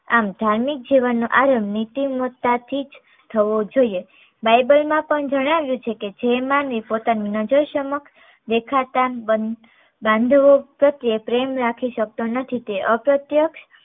આમ ધાર્મિક જીવનનો આરંભ નીતિ મતતા થીજ થવો જોઈએ bible માં પણ જણાવ્યું છે કે જે માનવી પોતાની નજર સમક્ષ દેખાતા બાંધવો પ્રત્યેય પ્રેમ રાખી શકતો નથી તે અપ્રત્ય